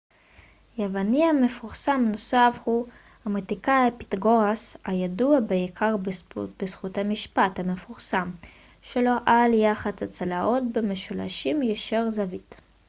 יווני מפורסם נוסף הוא המתמטיקאי פיתגורס הידוע בעיקר בזכות המשפט המפורסם שלו על יחס הצלעות במשולשים ישרי זווית